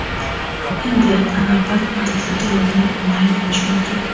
Endi Anorbank muddatli to‘lovini onlayn olish mumkin!.